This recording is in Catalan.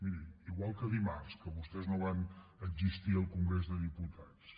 miri igual que dimarts que vostès no van existir al congrés de diputats